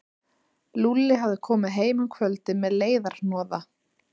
Lúlli hafði komið heim um kvöldið með leiðarhnoða.